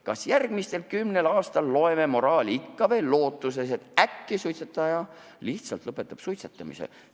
Kas järgmisel kümnel aastal loeme ikka veel moraali, lootuses, et äkki suitsetaja lihtsalt lõpetab suitsetamise?